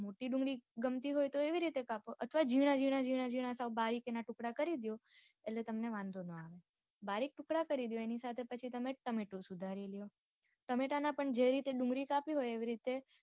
મોટી ડુંગળી ગમતી હોય તો એવી રીતે કાપો અથવા જીણા જીણા જીણા સાવ બારીક ના ટુકડા કરી દદ્યો આટલે તમને વાંધો નો આવે બારીક ટુકડા કરી દ્યો એની સાથે પછી તમે ટમેટું સુધારી લ્યો ટમેટા ના પણ જે રીતે ડુંગળી કાપી હોય એવી રીતે